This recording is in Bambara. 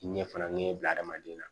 Ɲɛ fana ɲɛ bila hadamaden na